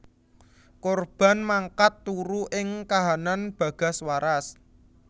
Korban mangkat turu ing kahanan bagas waras